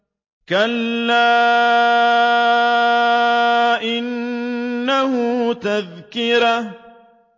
كَلَّا إِنَّهُ تَذْكِرَةٌ